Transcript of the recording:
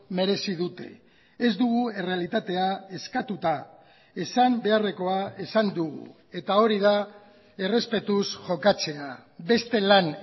merezi dute ez dugu errealitatea eskatuta esan beharrekoa esan dugu eta hori da errespetuz jokatzea beste lan